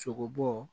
Sogobo